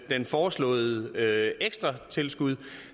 foreslåede ekstra tilskud